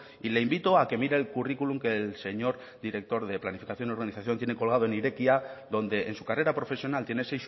y le invito a que mire el curriculum que del señor director de planificación urbanización tiene colgado en irekia donde en su carrera profesional tiene